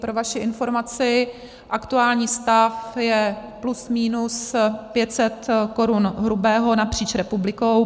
Pro vaši informaci, aktuální stav je plus minus 500 korun hrubého napříč republikou.